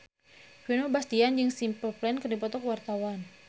Vino Bastian jeung Simple Plan keur dipoto ku wartawan